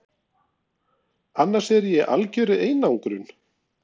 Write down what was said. annars er ég í algjörri einangrun.